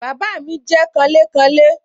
Bàbá mi jẹ́ kanlékanlé